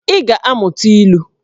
Ị ga-amụta ilu!